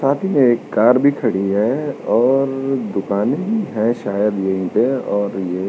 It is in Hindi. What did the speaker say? साथ ही में एक कार भी खडी है। और दुकाने भी हैं शायद यहीं पे और ये --